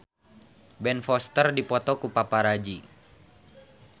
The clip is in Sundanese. Ben Foster dipoto ku paparazi